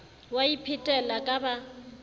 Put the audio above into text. o a iphetela ka ba